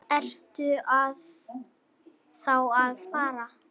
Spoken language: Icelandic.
Ertu þá að fara?